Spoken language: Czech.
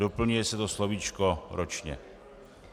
Doplňuje se to slovíčko ročně.